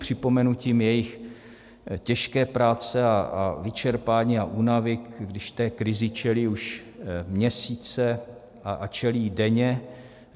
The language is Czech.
Připomenutím jejich těžké práce a vyčerpání a únavy, když té krizi čelí už měsíce a čelí jí denně.